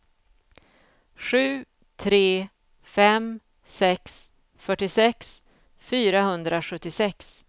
sju tre fem sex fyrtiosex fyrahundrasjuttiosex